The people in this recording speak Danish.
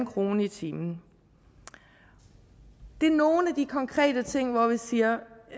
kroner i timen det er nogle af de konkrete ting hvor vi siger